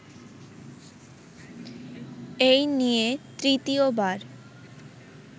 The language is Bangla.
এই নিয়ে তৃতীয়বার